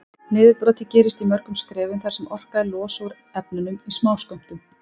Niðurbrotið gerist í mörgum skrefum þar sem orkan er losuð úr efnunum í smáskömmtum.